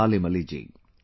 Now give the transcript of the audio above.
Salim Ali ji